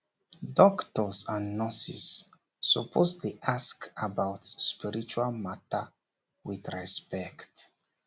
doctors and nurses suppose dey ask about spiritual matter with respect